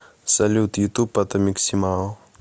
салют ютуб атомик симао